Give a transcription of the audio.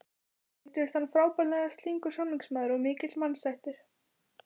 Reyndist hann frábærlega slyngur samningamaður og mikill mannasættir.